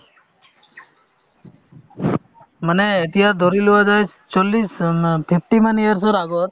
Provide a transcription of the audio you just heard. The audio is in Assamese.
মানে এতিয়া ধৰি লোৱা যায় চল্লিশ উম ন fifty মান years ৰ আগত